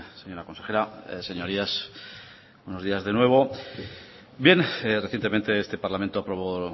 señora consejera señorías buenos días de nuevo bien recientemente este parlamento aprobó